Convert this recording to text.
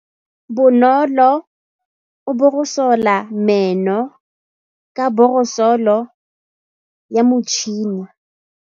Bonolô o borosola meno ka borosolo ya motšhine.